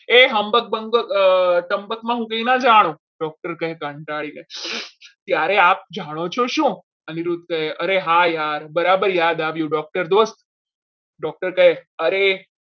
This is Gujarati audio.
હું કંઈ ના જાણો doctor કહે કંટાળીને ત્યારે આપ જાણો છો શું અનિરુદ્ધ કહે અને હા યાદ બરાબર યાદ આવી doctor દોસ્ત doctor કહે અરે